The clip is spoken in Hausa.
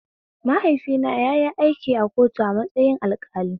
Mahaifina yayi aiki a kotu a matsayin alƙali